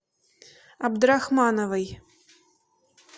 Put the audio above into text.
абдрахмановой